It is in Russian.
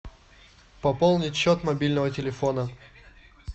пополнить счет мобильного телефона